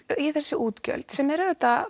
í þessi útgjöld sem eru auðvitað